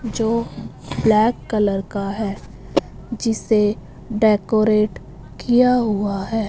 जो black colour का है जिसे डेकोरेट किया हुआ है।